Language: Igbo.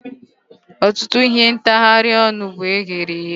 Ọtụtụ ihe ntagharị ọnụ bụ eghereghe